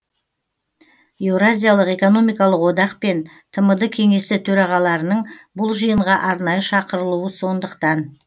еуразиялық экономикалық одақ пен тмд кеңесі төрағаларының бұл жиынға арнайы шақырылуы сондықтан